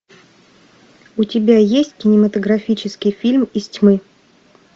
у тебя есть кинематографический фильм из тьмы